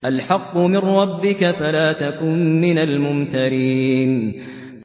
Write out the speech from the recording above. الْحَقُّ مِن رَّبِّكَ فَلَا تَكُن مِّنَ الْمُمْتَرِينَ